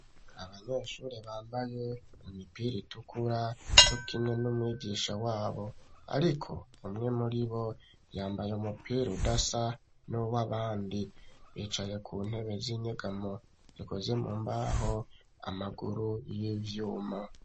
Abanyeshuri bambaye imipira itukura co kimwe n'umwigisha wabo ariko umwe muribo yambaye umupira udasa n'uwabandi bicaye ku ntebe z'inyegamo zikoze mu mbaho amaguru y'ivyuma